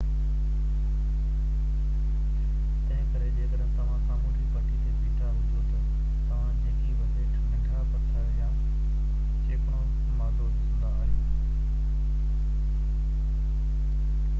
تنهنڪري جيڪڏهن توهان سامونڊي پٽي تي بيٺا هجو ته توهان جيڪي بہ هيٺ ننڍا پٿر يا چيڪڻو مادو ڏسندا آهيو